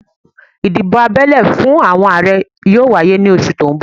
Ìdìbò abẹ́lé fún àwọn Ààrẹ yóò wáyé ní oṣù tó ń bọ̀